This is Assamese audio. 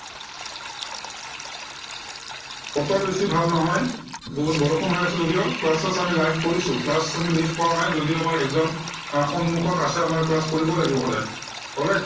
বতৰ বেছি ভাল নহয়। বহুত বৰষুণ হৈ আছে যদিও class স্লাচ আমি live কৰিছো। class আমি miss কৰা নাই। যদিও আমাৰ exam সন্মুখত আছে। আমাৰ class কৰিবই লাগিব সদায়। okay